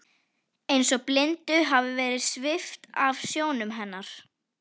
Eins og blindu hafi verið svipt af sjónum hennar.